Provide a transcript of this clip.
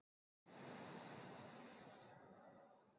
Við segjum þá einfaldlega að krafturinn sé jafn massa sinnum hröðun.